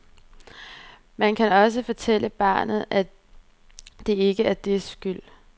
Man skal også fortælle barnet, at det ikke er dets skyld.